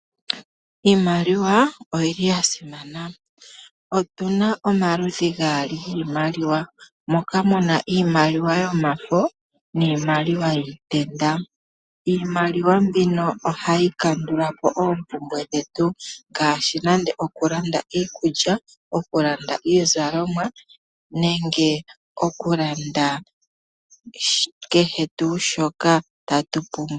Iimaliwa oyili yasimana otuna omaludhi gaali giimaliwa moka muna iimaliwa yomafo niimaliwa yiitenda. Iimaliwa mbino ohayi kandulapo oompumbwe dhetu ngaashi nande oku landa iikulya, iizalomwa nenge oku landa kehe tuu shoka tatu pumbwa.